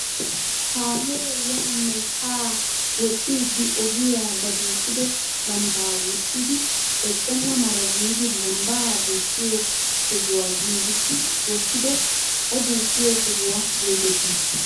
Kaamee yaanne haa woxxiidi ogiyaa ba duuqqido lambbaa wurssidi eqqenna mala giidi lambbaa duqqiyoo sohuwaa giigissi wottido o duuqqiyoo sohuwaa getettii?